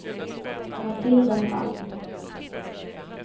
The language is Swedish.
Matilda Palm